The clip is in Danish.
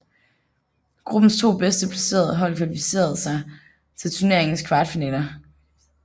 Gruppens to bedst placerede hold kvalificererede sig til turneringens kvartfinaler